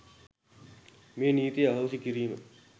මේ නීතිය අහෝසි කිරීම.